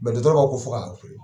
Mɛitɔkaw ko fo' fɔ